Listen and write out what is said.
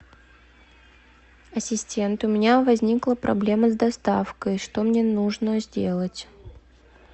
ассистент у меня возникла проблема с доставкой что мне нужно сделать